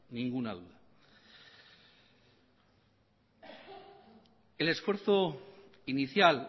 ninguna duda el esfuerzo inicial